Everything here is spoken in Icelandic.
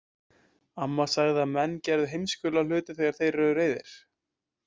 Amma sagði að menn gerðu heimskulega hluti þegar þeir eru reiðir.